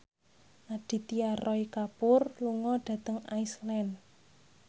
Aditya Roy Kapoor lunga dhateng Iceland